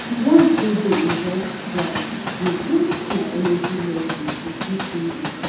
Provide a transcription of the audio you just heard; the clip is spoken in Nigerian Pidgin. di ones wey de involve price de boost my energy level to fit win di price